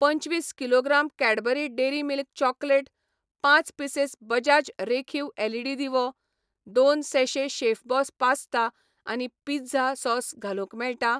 पंचवीस kilogram Cadbury dairy milk chocolate, पांच pieces Bajaj रेखीव एलईडी दिवो, दोन सैैशे शेफबॉस पास्ता आनी पिझ्झा सॉस घालूंक मेळटा ?